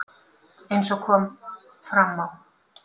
Eins og kom fram á